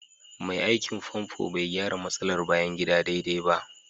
Mai aikin famfo bai gyara matsalar bayan gida daidai ba